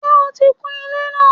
Sé o ti kun ilé náà